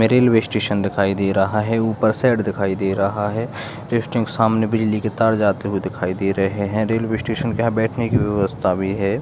Railway station दिखाई दे रहा है ऊपर शेड दिखाई दे रहा है जस्ट एक सामने बिजली के तार जाते हुए दिखाई दे रहे है रेलवे स्टेशन के यहाँ बैठने की व्यवस्था भी है।